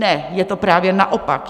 Ne, je to právě naopak.